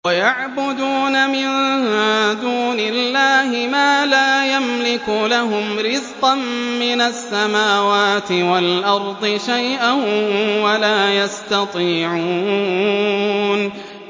وَيَعْبُدُونَ مِن دُونِ اللَّهِ مَا لَا يَمْلِكُ لَهُمْ رِزْقًا مِّنَ السَّمَاوَاتِ وَالْأَرْضِ شَيْئًا وَلَا يَسْتَطِيعُونَ